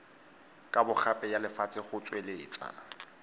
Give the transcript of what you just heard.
kabogape ya lefatshe go tsweletsa